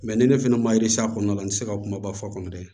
ni ne fɛnɛ ma s'a kɔnɔna na n ti se ka kuma ba fɔ kɔnɔ dɛ